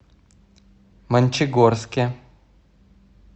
мончегорске